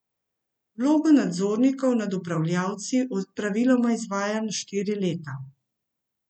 Vlogo nadzornikov nad upravljavci praviloma izvaja na štiri leta.